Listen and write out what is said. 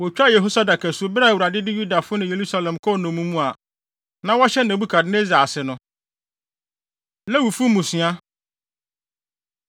Wotwaa Yehosadak asu bere a Awurade de Yudafo ne Yerusalemfo kɔɔ nnommum mu a na wɔhyɛ Nebukadnessar ase no. Lewifo Mmusua